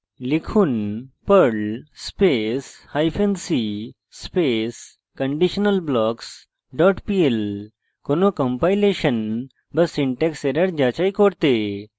লিখুন perl space hyphen c space conditionalblocks dot pl কোনো compilation বা syntax error যাচাই করতে